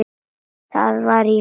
Það var í lagi.